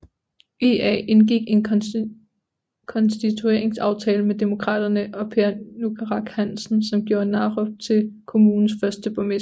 IA indgik en konstitueringsaftale med Demokraterne og Per Nukaaraq Hansen som gjorde Narup til kommunens første borgmester